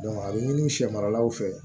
a bɛ ɲini sɛ maralaw fɛ